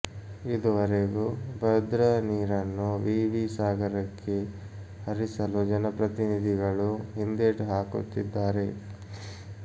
ಇದುವರೆಗೂ ಭದ್ರಾ ನೀರನ್ನು ವಿವಿ ಸಾಗರಕ್ಕೆ ಹರಿಸಲು ಜನಪ್ರತಿನಿಧಿಗಳು ಹಿಂದೇಟು ಹಾಕುತ್ತಿದ್ದಾರೆ